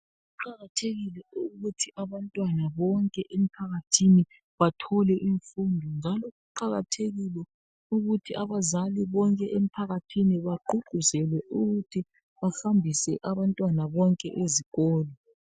Kuqakathekile ukuthi abantwana bonke emphakathini bathole imfundo, njalo kuqakathekile ukuthi abazali bonke emphakathini baguquzelwe ukuthi bahambise abantwana bonke ezikolo.